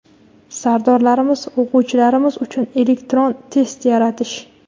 Sardorlarimiz, o‘quvchilarimiz uchun elektron test yaratish.